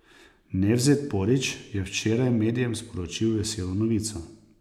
Nevzet Porić je včeraj medijem sporočil veselo novico.